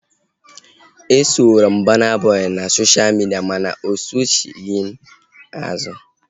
Esoro m Burna Boy na sosha midia mana osochighi m azu